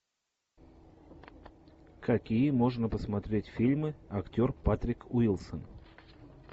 какие можно посмотреть фильмы актер патрик уилсон